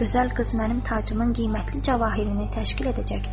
“Gözəl qız mənim tacımın qiymətli cəvahirini təşkil edəcəkdir.”